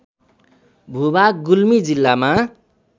भूभाग गुल्मी जिल्लामा